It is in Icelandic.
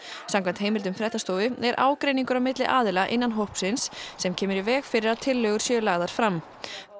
samkvæmt heimildum fréttastofu er ágreiningur á milli aðila innan hópsins sem kemur í veg fyrir að tillögur séu lagðar fram